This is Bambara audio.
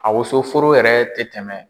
A wosoforo yɛrɛ tɛ tɛmɛ.